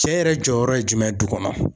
Cɛ yɛrɛ jɔyɔrɔ ye jumɛn ye du kɔnɔ ?